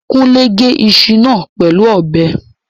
Kúnlé gé iṣu náà pẹ̀lú ọ̀bẹ